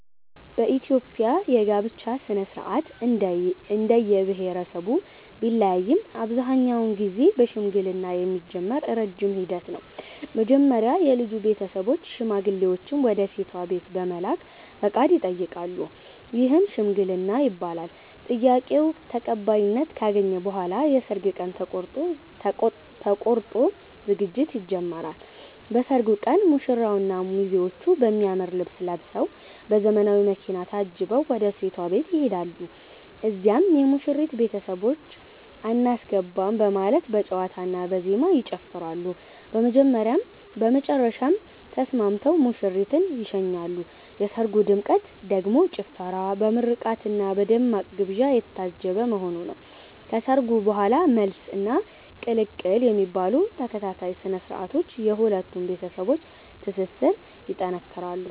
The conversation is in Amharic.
በኢትዮጵያ የጋብቻ ሥነ-ሥርዓት እንደየብሄረሰቡ ቢለያይም አብዛኛውን ጊዜ በሽምግልና የሚጀምር ረጅም ሂደት ነው። መጀመሪያ የልጁ ቤተሰቦች ሽማግሌዎችን ወደ ሴቷ ቤት በመላክ ፈቃድ ይጠይቃሉ፤ ይህም "ሽምግልና" ይባላል። ጥያቄው ተቀባይነት ካገኘ በኋላ የሰርግ ቀን ተቆርጦ ዝግጅት ይጀምራል። በሰርጉ ቀን ሙሽራውና ሚዜዎቹ በሚያምር ልብስ ለብሰዉ፤ በዘመናዊ መኪና ታጅበው ወደ ሴቷ ቤት ይሄዳሉ። እዚያም የሙሽሪት ቤተሰቦች "አናስገባም " በማለት በጨዋታና በዜማ ይጨፍራሉ፤ በመጨረሻም ተስማምተው ሙሽሪትን ይሸኛሉ። የሰርጉ ድምቀት ደግሞ ጭፈራ፣ በምርቃትና በደማቅ ግብዣ የታጀበ መሆኑ ነው። ከሰርጉ በኋላም "መልስ" እና "ቅልቅል" የሚባሉ ተከታታይ ስነ-ስርዓቶች የሁለቱን ቤተሰቦች ትስስር ይጠነክራል።